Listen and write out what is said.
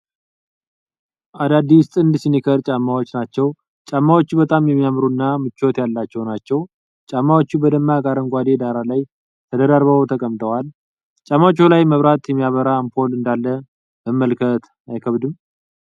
አዳዲስ ጥንድ ሲኒከር ጫማዎች ናቸው። ጫማዎቹ በጣም የሚያማምሩ እና ምቾት ያላቸው ናቸው። ጫማዎቹ በደማቅ አረንጓዴ ዳራ ላይ ተደራርበው ተቀምጠዋል። ጫማዎቹ ላይ መብራት የሚያበራ አምፖል እንዳለ መመልከት አይከብድም።